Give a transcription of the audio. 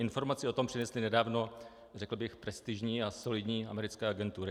Informaci o tom přinesly nedávno, řekl bych, prestižní a solidní americké agentury.